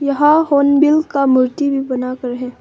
यहां होनबिल का मूर्ति भी बना हुआ है।